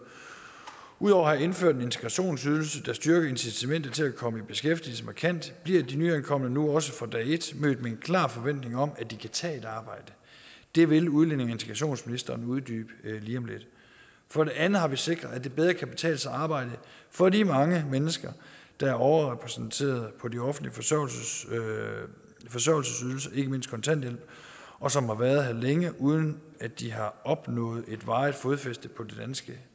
ud over at have indført en integrationsydelse som styrker incitamentet til at komme i beskæftigelse markant bliver de nyankomne nu også fra dag et mødt med en klar forventning om at de kan tage et arbejde det vil udlændinge og integrationsministeren uddybe lige om lidt for det andet har vi sikret at det bedre kan betale sig at arbejde for de mange mennesker der er overrepræsenteret på de offentlige forsørgelsesydelser ikke mindst kontanthjælp og som har været her længe uden at de har opnået et varigt fodfæste på det danske